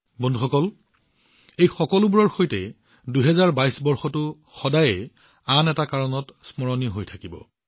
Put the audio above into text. বন্ধুসকল এই সকলোবোৰৰ সৈতে ২০২২ বৰ্ষটো আন এটা কাৰণৰ বাবে সদায় স্মৰণীয় হৈ থাকিব